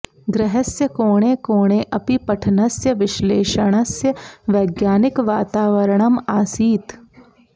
गृहस्य कोणे कोणे अपि पठनस्य विश्लेषणस्य वैज्ञानिकवातावरणम् आसीत्